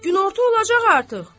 Günorta olacaq artıq.